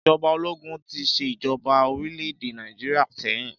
Ìjọba ológun tí ṣe ìjọba orílẹ̀-èdè Nàìjíríà sẹ́yìn